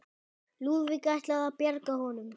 Lúðvík ætlað að bjarga honum.